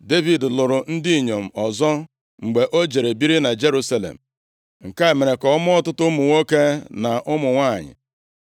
Devid lụrụ ndị inyom ọzọ mgbe o jere biri na Jerusalem. Nke a mere ka ọ mụọ ọtụtụ ụmụ nwoke na ụmụ nwanyị.